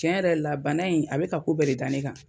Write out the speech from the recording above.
Cɛn yɛrɛ la bana in a be ka ko bɛ de da ne kan